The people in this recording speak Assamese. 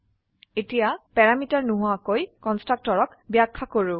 এতিয়া প্যাৰামিটাৰ নোহোৱা কন্সট্ৰাকটৰ ব্যাখ্যা কৰো